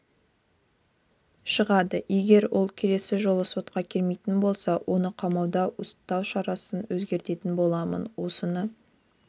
шығады егер ол келесі жолы сотқа келмейтін болса оны қамауда ұстау шарасын өзгертетін боламын осыны